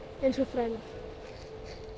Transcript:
eins og þrælar